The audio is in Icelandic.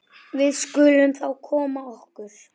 Við skulum þá koma okkur.